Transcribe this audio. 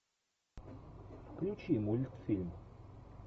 включи мультфильм